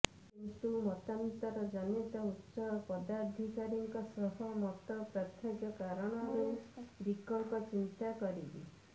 କିନ୍ତୁ ମତାନ୍ତର ଜନିତ ଉଚ୍ଚ ପଦାଧିକାରୀଙ୍କ ସହ ମତ ପାର୍ଥକ୍ୟ କାରଣରୁ ବିକଳ୍ପ ଚିନ୍ତା କରିବେ